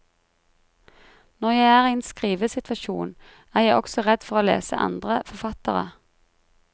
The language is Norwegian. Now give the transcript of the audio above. Når jeg er i en skrivesituasjon, er jeg også redd for å lese andre forfattere.